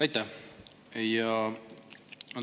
Aitäh!